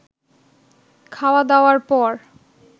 খাওয়া দাওয়ার পর